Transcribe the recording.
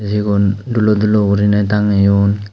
igun dulo dulo gurine tangeyon.